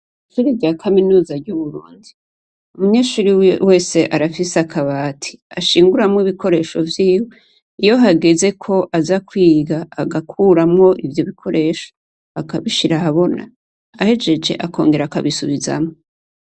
Ishure rya kaminuza ry'ubuvuzi, umunyeshure wese arafise akabati, ashinguramwo ibikoresho vyiwe, iyo hageze ko aza kwiga agakuramwo ivyo bikoresho, akabishira ahabona. Ahejeje akongera akabisubizamwo.